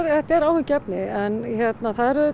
þetta er áhyggjuefni en hérna